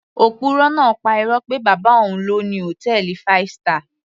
Òpùrọ́ náà pa irọ́ pé bàbá òun ló ni hòtẹ́ẹ̀lì five star